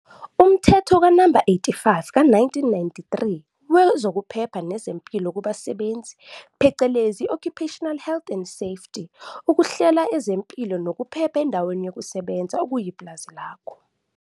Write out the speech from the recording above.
Umthetho, Na. 85 ka-1993, wezoKuphepha nezeMpilo kubasebenzi phecelezi i-Occupational Health and Safety ukuhlela ezempilo nokuphepha endaweni yokusebenza, okuyipulazi lakho.